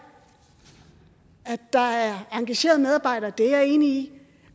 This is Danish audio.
at der er engagerede medarbejdere det er jeg enig